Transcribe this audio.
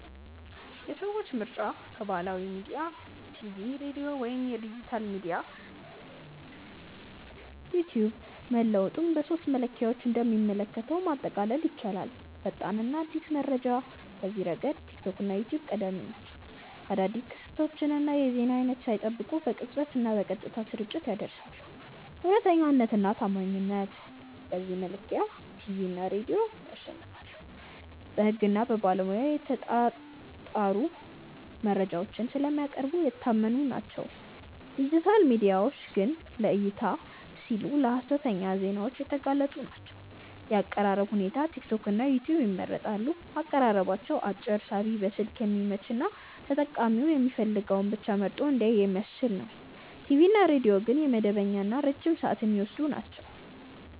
የሰዎች ምርጫ ከባህላዊ ሚዲያ (ቲቪ/ሬዲዮ) ወደ ዲጂታል ሚዲያ (ቲክቶክ/ዩትዩብ) መለወጡን በሦስቱ መለኪያዎች እንደሚከተለው ማጠቃለል ይቻላል፦ ፈጣንና አዲስ መረጃ፦ በዚህ ረገድ ቲክቶክ እና ዩትዩብ ቀዳሚ ናቸው። አዳዲስ ክስተቶችን የዜና ሰዓት ሳይጠብቁ በቅጽበትና በቀጥታ ስርጭት ያደርሳሉ። እውነተኛነትና ታማኝነት፦ በዚህ መለኪያ ቲቪ እና ሬዲዮ ያሸንፋሉ። በሕግና በባለሙያ የተጣሩ መረጃዎችን ስለሚያቀርቡ የታመኑ ናቸው፤ ዲጂታል ሚዲያዎች ግን ለዕይታ (Views) ሲሉ ለሀሰተኛ ዜናዎች የተጋለጡ ናቸው። የአቀራረብ ሁኔታ፦ ቲክቶክና ዩትዩብ ይመረጣሉ። አቀራረባቸው አጭር፣ ሳቢ፣ በስልክ የሚመች እና ተጠቃሚው የሚፈልገውን ብቻ መርጦ እንዲያይ የሚያስችል ነው። ቲቪ እና ሬዲዮ ግን መደበኛና ረጅም ሰዓት የሚወስዱ ናቸው።